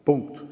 Punkt.